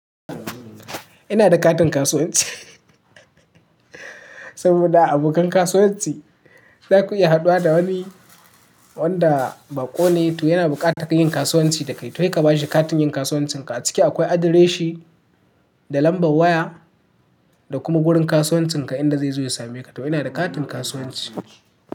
Ina da katin kasuwanci, saboda a abokan kasuwanci zaku iya haduwa da wani wanda bako ne to yana bukatar yin kasuwanci da kai, to kai ka bashi katin yin kasuwancinka. A ciki akwai adireshin da lambar waya da kuma wurin kasuwancinka inda zai zo ya same ka. To inada katin kasuwanci.